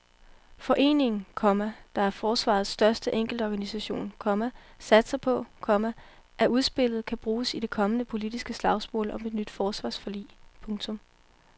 Foreningen, komma der er forsvarets største enkeltorganisation, komma satser på, komma at udspillet kan bruges i det kommende politiske slagsmål om et nyt forsvarsforlig. punktum